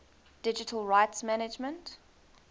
digital rights management